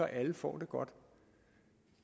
alle får det godt